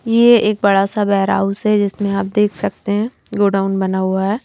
ये एक बड़ा सा बैर हाउस है जिसमें आप देख सकते हैंगोडाउन बना हुआ है।